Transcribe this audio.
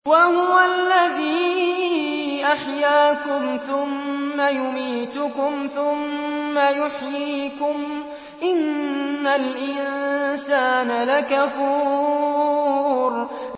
وَهُوَ الَّذِي أَحْيَاكُمْ ثُمَّ يُمِيتُكُمْ ثُمَّ يُحْيِيكُمْ ۗ إِنَّ الْإِنسَانَ لَكَفُورٌ